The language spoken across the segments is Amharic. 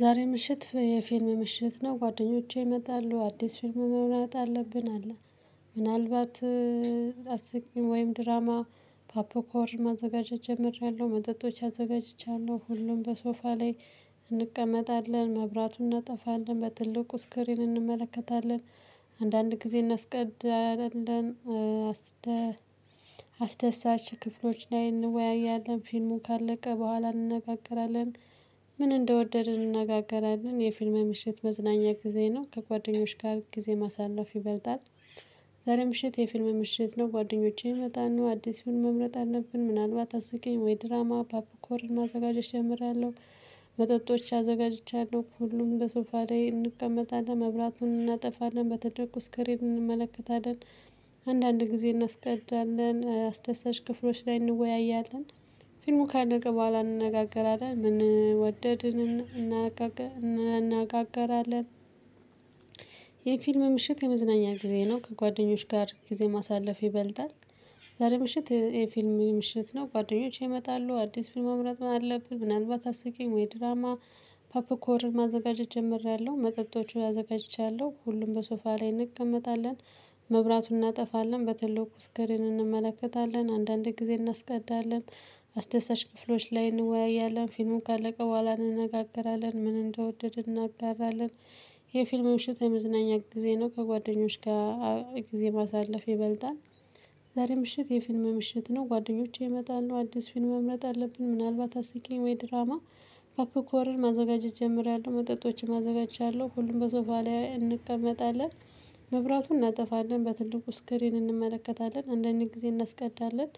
ዛሬ ምሽት የፊልም ምሽት ነው ጓደኞቼ ይመጣሉ አዲስ ፊልም መምረጥ አለብን አለ። ምናልባት። አስቂኝ ወይም ድራማ ፓፕኮር ማዘጋጀት ጀምሬያለሁ መጠጦች አዘጋጅቻለሁ። ሁሉም በሶፋ ላይ እንቀመጣለን መብራቱን እናጠፋለን በትልቁ ስክሪን እንመለከታለን። አንዳንድ ጊዜ እናስቀድላለን። አስደሳች ክፍሎች ላይ እንወያያለን ፊልሙ ካለቀ በኋላ እንነጋገራለን። ምን እንደወደድን እንነጋገራለን የፊልም ምሽት መዝናኛ ጊዜ ነው። ከጓደኞች ጋር ጊዜ ማሳለፍ ይበልጣል። ዛሬ ምሽት የፊልም ምሽት ነው። ጓደኞቼን ይመጣሉ አዲስ መምረጥ አለብን ምናልባት አስቀኝ ወይ ድራማ ፓፕኮርን ማዘጋጀት ጀምሬአለሁ። መጠጦች አዘጋጅቻለሁ ሁሉም በሶፋ ላይ እንቀመጣለን መብራቱን እናጠፋለን በትልቁ እስክሪን እንመለከታለን። አንዳንድ ጊዜ እናስቀዳለን አስደሳች ክፍሎች ላይ እንወያያለን። ፊልሙ ካለቀ በኋላ እንነጋገራለን ምን ወደድን እናናጋጋ እንነጋገራለን። የፊልም ምሽት የመዝናኛ ጊዜ ነው። ከጓደኞች ጋር ጊዜ ማሳለፍ ይበልጣል። ዛሬ ምሽት የፊልም ምሽት ነው። ጓደኞቼ ይመጣሉ አዲስ ፊልም መምረጥም አለብን ምናልባት አስቂኝ ወይ ድራማ። ፓፕኮር ማዘጋጀት ጀምሬያለሁ መጠጦቹን አዘጋጅቻለሁ ሁሉም በሶፋ ላይ እንቀመጣለን። መብራቱን እናጠፋለን በትልቁ ስክሪን እንመለከታለን አንዳንዴ ጊዜ እናስቀዳለን። አስደሳች ክፍሎች ላይ እንወያያለን ፊልሙን ካለቀ በኋላ እንነጋገራለን ምን እንደወደድን እናጋራለን። የፊልም ምሽት የመዝናኛ ጊዜ ነው። ከጓደኞች ጋር ጊዜ ማሳለፍ ይበልጣል። ዛሬ ምሽት የፊልም ምሽት ነው። ጓደኞቼ ይመጣሉ አዲስ ፊልም መምረጥ አለብን ምናልባት አስቂኝ ወይ ድራማ። ፓፕ ኮርን ማዘጋጀት ጀምሪያለሁ መጠጦችን አዘጋጅቻለሁ ሁሉም በሶፋ ላይ እንቀመጣለን። መብራቱን እናጠፋለን በትልቁ ስክሪን እንመለከታለን አንድ አንድ ጊዜ እናስቀዳለን።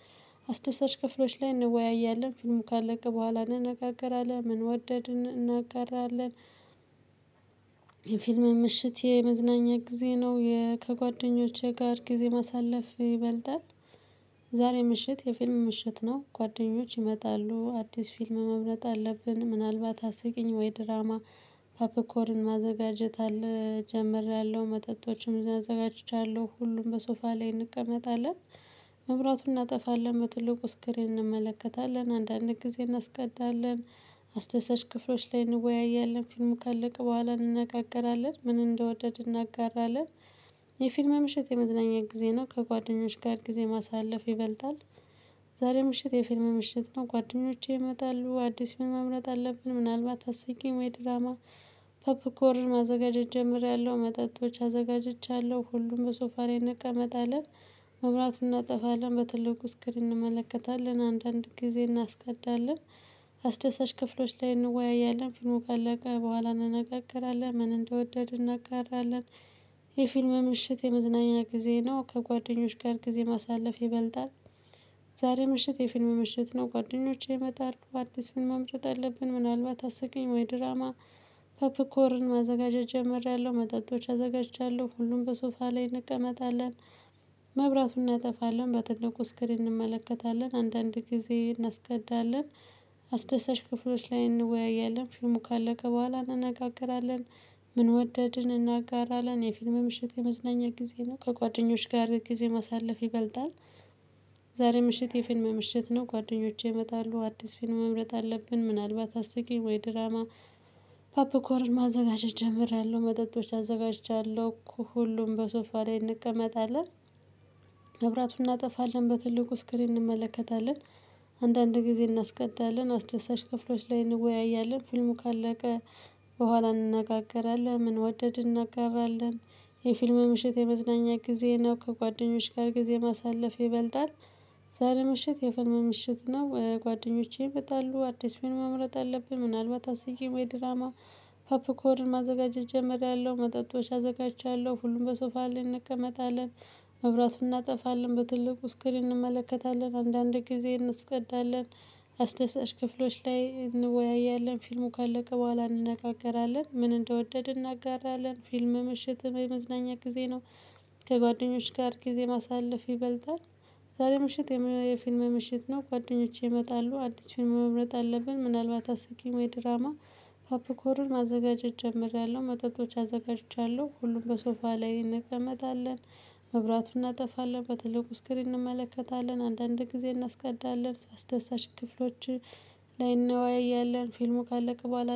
አስደሳች ክፍሎች ላይ እንወያያለን ፊልሙ ካለቀ በኋላ እንነጋገራለን ምን ወደድን እናጋራለን። የፊልም ምሽት የመዝናኛ ጊዜ ነው። ከጓደኞቼ ጋር ጊዜ ማሳለፍ ይበልጣል። ዛሬ ምሽት የፊልም ምሽት ነው። ጓደኞች ይመጣሉ አዲስ ፊልም መምረጥ አለብን ምናልባት አስቂኝ ወይ ድራማ። ፓፕኮርን ማዘጋጀት አለ ጀምሬያለሁ መጠጦችም አዘጋጅቻለሁ ሁሉም በሶፋ ላይ እንቀመጣለን። መብራቱን እናጠፋለን በትልቁ ስክሪን እንመለከታለን አንዳንድ ጊዜ እናስቀዳለን። አስደሳች ክፍሎች ላይ እንወያያለን ፊልሙ ካለቀ በኋላ እንነጋገራለን ምን እንደወደድን እናጋራለን። የፊልም ምሽት የመዝናኛ ጊዜ ነው። ከጓደኞች ጋር ጊዜ ማሳለፍ ይበልጣል። ዛሬ ምሽት የፊልም ምሽት ነው። ጓደኞቼ ይመጣሉ አዲስ ፊልም መምረጥ አለብን ምናልባት አስቂኝ ወይ ድራማ። ፖፕኮርን ማዘጋጀት ጀምሬያለሁ መጠጦች አዘጋጅቻለሁ ሁሉም በሶፋ ላይ እንቀመጣለን። መብራቱን እናጠፋለን በትልቁ ስክሪን እንመለከታለን አንዳንድ ጊዜ እናስቀዳለን። አስደሳች ክፍሎች ላይ እንወያያለን ፊልሙ ካለቀ በኋላ እንነጋገራለን ምን እንደወደድን እናጋራለን። የፊልም ምሽት የመዝናኛ ጊዜ ነው። ከጓደኞች ጋር ጊዜ ማሳለፍ ይበልጣል። ዛሬ ምሽት የፊልም ምሽት ነው። ጓደኞቼ ይመጣሉ አዲስ ፊልም ማምጣት አለብን ምናልባት አስቂኝ ወይ ድራማ። ፐፕኮርን ማዘጋጀት ጀመርያለሁ መጠጦች አዘጋጅቻለሁ ሁሉም በሶፋ ላይ እንቀመጣለን። መብራቱን እናጠፋለን በትልቁ ስክሪን እንመለከታለን አንዳንድ ጊዜ እናስቀዳለን። አስደሳች ክፍሎች ላይ እንወያያለን ፊልሙ ካለቀ በኋላ እንነጋገራለን። ምን ወደድን እናጋራለን የፊልም ምሽት የመዝናኛ ጊዜ ነው። ከጓደኞች ጋር ጊዜ ማሳለፍ ይበልጣል። ዛሬ ምሽት የፊልም ምሽት ነው። ጓደኞቼ ይመጣሉ አዲስ ፊልም መምረጥ አለብን ምናልባት አስቂኝ ወይ ድራማ። ፓፕኮርን ማዘጋጀት ጀምሬያለሁ መጠጦች አዘጋጅቻለሁ ሁሉም በሶፋ ላይ እንቀመጣለን። መብራቱን እናጠፋለን በትልቁ ስክሪን እንመለከታለን። አንዳንድ ጊዜ እናስቀዳለን አስደሳች ክፍሎች ላይ እንወያያለን ፊልሙ ካለቀ በኋላ እንነጋገራለን ምን ወደድን እናጋራለን። የፊልም ምሽት የመዝናኛ ጊዜ ነው። ከጓደኞች ጋር ጊዜ ማሳለፍ ይበልጣል። ዛሬ ምሽት የፊልም ምሽት ነው። ጓደኞቼ ይመጣሉ አዲስ ፊልም መምረጥ አለብን ምናልባት አስቂኝ ወይ ድራማ። ፐፕኮርን ማዘጋጀት ጀመርያለው መጠጦች አዘጋጅቻለሁ ሁሉም በሶፋ ላይ እንቀመጣለን። መብራቱን እናጠፋለን በትልቁ ስክሪን እንመለከታለን አንዳንድ ጊዜ እንስቀዳለን። አስደሳች ክፍሎች ላይ እንወያያለን ፊልሙ ካለቀ በኋላ እንነጋገራለን ምን እንደወደድን እናጋራለን። ፊልም ምሽትም የመዝናኛ ጊዜ ነው። ከጓደኞች ጋር ጊዜ ማሳለፍ ይበልጣል። ዛሬ ምሽት የፊልም ምሽት ነው። ጓደኞቼ ይመጣሉ አዲስ ፊልም መምረጥ አለብን ምናልባት አስቂኝ ወይ ድራማ። ፓፕኮርን ማዘጋጀት ጀምሬያለሁ መጠጦች አዘጋጅቻለሁ ሁሉም በሶፋ ላይ እንቀመጣለን። መብራቱን እናጠፋለን በትልቁ ስክሪን እንመለከታለን አንዳንድ ጊዜ እናስቀዳለን አስደሳች ክፍሎችን። ላይ እንወያያለን ፊልሙ ካለቀ በኋላ